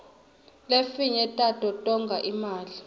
lefinye tato tonga imali